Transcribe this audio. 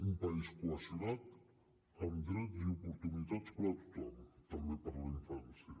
un país cohesionat amb drets i oportunitats per a tothom també per a la infància